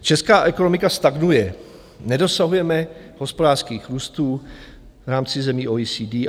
Česká ekonomika stagnuje, nedosahujeme hospodářských růstů v rámci zemí OECD.